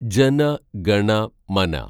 ജന ഗണ മന